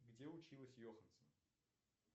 где училась йоханссон